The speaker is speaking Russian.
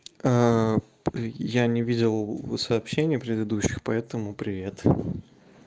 я не видел сообщение предыдущих поэтому привет